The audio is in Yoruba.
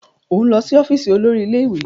O n lọ si ọfiisi olórí ilé-ìwé!